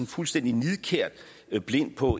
fuldstændig nidkært blind på